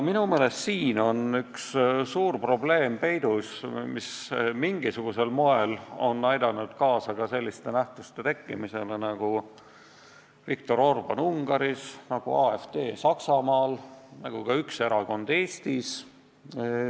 Minu meelest on siin peidus üks suur probleem, mis mingisugusel moel on aidanud kaasa ka selliste nähtuste tekkimisele nagu Viktor Orbán Ungaris, nagu AfD Saksamaal ja nagu ka üks erakond Eestis.